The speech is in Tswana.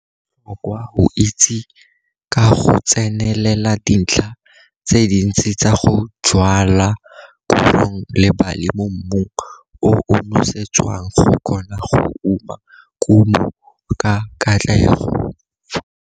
Go botlhokwa go itse ka go tsenelela dintlha tse dintsi tsa go jwala korong le bali mo mmung o o nosetswang go kgona go uma kumo ka katlego.